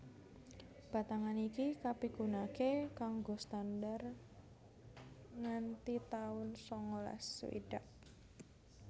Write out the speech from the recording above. Batangan iki kapigunakaké kanggo standar nganti taun sangalas swidak